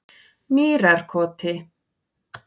Mýrarkoti